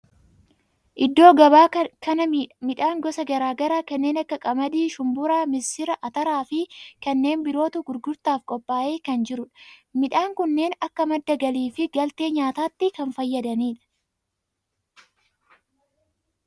Iddoo gabaa kana midhaan gosa garaa garaa kanneen akka qamadii, shumburaa, missira, ataraa fi kanneen birootu gurgurtaaf qophaa'ee kan jirudha. midhaan kunneen akka madda galii fi galtee nyaatatti kan fayyadanidha.